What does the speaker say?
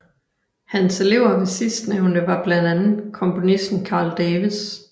Hans elever ved sidstnævnte var blandt andet komponisten Carl Davis